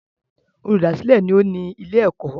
Olùdásìlẹ̀ ni ó ní ilé-ẹ̀kọ́.